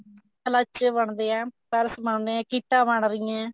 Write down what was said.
ਬਣਦੇ ਆ purse ਬਣਦੇ ਆ ਕਿੱਟਾਂ ਬਣ ਰਹੀਆਂ